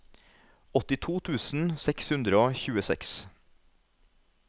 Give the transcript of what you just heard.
åttito tusen seks hundre og tjueseks